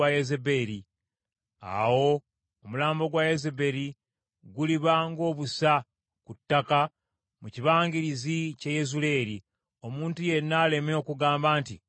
Era omulambo gwa Yezeberi guliba ng’obusa ku ttale mu kibangirizi ky’e Yezuleeri, omuntu yenna aleme okugamba nti, Ono ye Yezeberi.’ ”